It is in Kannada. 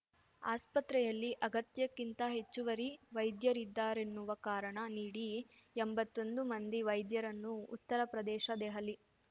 ಆಸ್ಪತ್ರೆಯಲ್ಲಿ ಅಗತ್ಯಕ್ಕಿಂತ ಹೆಚ್ಚುವರಿ ವೈದ್ಯರಿದ್ದಾರೆನ್ನುವ ಕಾರಣ ನೀಡಿ ಎಂಬತ್ತೊಂದು ಮಂದಿ ವೈದ್ಯರನ್ನು ಉತ್ತರ ಪ್ರದೇಶ ದೆಹಲಿ